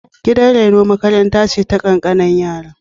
Gidan reno makaranta ce ta ƙanƙananan yara.